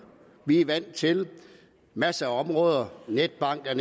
vi er vant til masser af områder netbank er